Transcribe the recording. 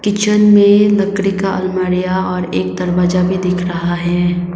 Kitchen में लकड़ी का अलमारियां और एक दरवाजा भी दिख रहा है।